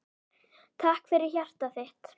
Takk fyrir hjartað þitt.